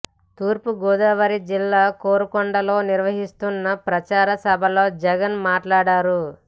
తూర్పుగోదావరి జిల్లా కోరుకొండలో నిర్వహిస్తున్న ప్రచార సభలో జగన్ మాట్లాడారు